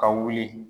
Ka wuli